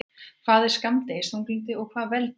Hvað er skammdegisþunglyndi og hvað veldur því?